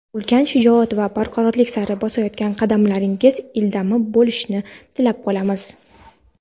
ulkan shijoat va barkamollik sari bosayotgan qadamlaringiz ildam bo‘lishini tilab qolamiz!.